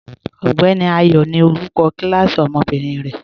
Ọgbẹni Ayọ ni olúkọ̀ kilasí ọmọ́bìnrin rẹ.